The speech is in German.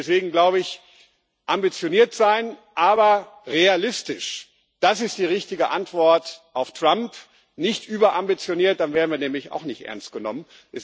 Deswegen glaube ich Ambitioniert sein, aber realistisch das ist die richtige Antwort auf Trump, nicht überambitioniert, dann werden wir nämlich auch nicht ernst genommen.